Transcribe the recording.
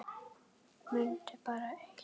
Mundu bara eitt.